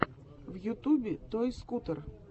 в ютубе той скутер